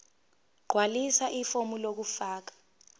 gqwalisa ifomu lokufaka